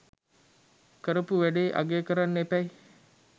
කරපු වැඩේ අගය කරන්න එපැයි.